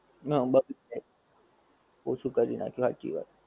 ઓછું કર નાખિયું